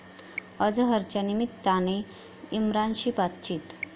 अझहरच्या निमित्ताने इम्रानशी बातचीत